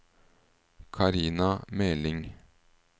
Karina Meling